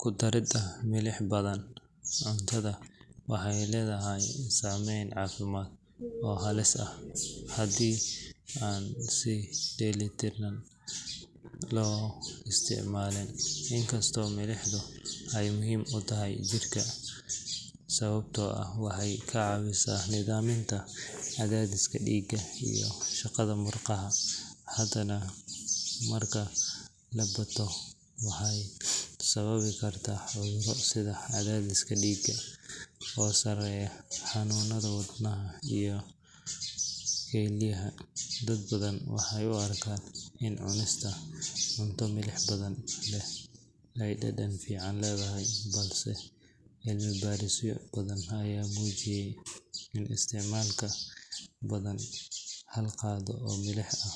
Ku daridda milix badan cuntada waxay leedahay saameyn caafimaad oo halis ah haddii aan si dheellitiran loo isticmaalin. Inkastoo milixdu ay muhiim u tahay jidhka sababtoo ah waxay ka caawisaa nidaaminta cadaadiska dhiigga iyo shaqada murqaha, haddana marka ay badato waxay sababi kartaa cudurro sida cadaadiska dhiigga oo sareeya, xanuunnada wadnaha iyo kelyaha. Dad badan waxay u arkaan in cunista cunto milix badan leh ay dhadhan fiican leedahay, balse cilmi baarisyo badan ayaa muujiyey in isticmaalka ka badan hal qaado oo milix ah